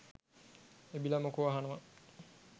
එබිල මොකෝ අහනවා